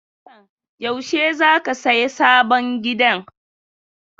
Hassan, yaushe za ka saya sabon gidan?